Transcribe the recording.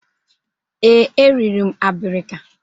Ee, eriri m abirika.